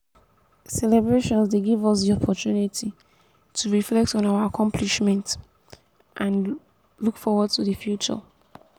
celebrations dey give us di opportunity to reflect on our accomplishments and look forward to di future.